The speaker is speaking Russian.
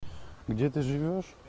где ты живёшь